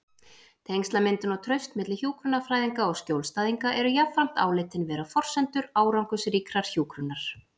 Tengslamyndun og traust milli hjúkrunarfræðinga og skjólstæðinga eru jafnframt álitin vera forsendur árangursríkrar hjúkrunar.